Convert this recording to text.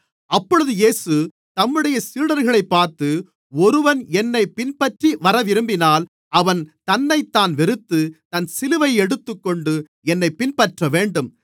அப்பொழுது இயேசு தம்முடைய சீடர்களைப் பார்த்து ஒருவன் என்னைப் பின்பற்றிவரவிரும்பினால் அவன் தன்னைத்தான் வெறுத்து தன் சிலுவையை எடுத்துக்கொண்டு என்னைப் பின்பற்றவேண்டும்